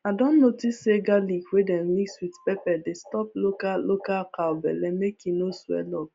i don notice say garlic wey dem mix with pepper dey stop local local cow belle make e no swell up